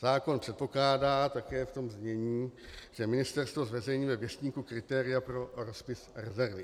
Zákon předpokládá také v tom znění, že ministerstvo zveřejňuje ve Věstníku kritéria pro rozpis rezervy.